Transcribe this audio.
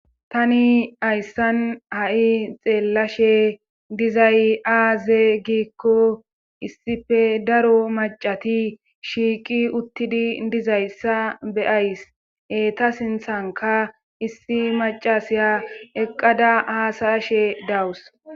tani ayssan ha7i xeellashe dizay aaze giikko issife daro macati shiiqi uttidi dizayssa beyays eta sinthanka issi macasiya eqqada haasayashe dawus